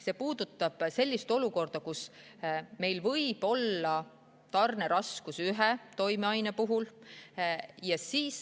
See puudutab sellist olukorda, kus meil võib olla mõne toimeainega tarneraskusi.